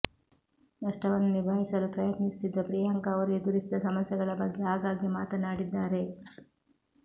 ನಷ್ಟವನ್ನು ನಿಭಾಯಿಸಲು ಪ್ರಯತ್ನಿಸುತ್ತಿದ್ದ ಪ್ರಿಯಾಂಕಾ ಅವರು ಎದುರಿಸಿದ ಸಮಸ್ಯೆಗಳ ಬಗ್ಗೆ ಆಗಾಗ್ಗೆ ಮಾತನಾಡಿದ್ದಾರೆ